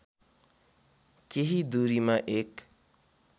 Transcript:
केही दूरीमा एक